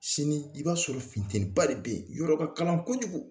Sini i b'a sɔrɔ futeniba de bɛ yen yɔrɔ ka kalan kojugu